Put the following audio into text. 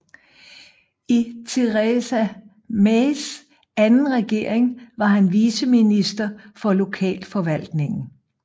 I Theresa Mays anden regering var han viceminister for lokalforvaltning